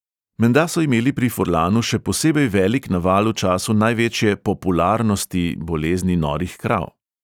Menda so imeli pri furlanu še posebej velik naval v času največje "popularnosti" bolezni norih krav.